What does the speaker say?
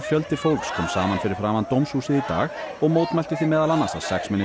fjöldi fólks kom saman fyrir framan dómshúsið í dag og mótmælti því meðal annars að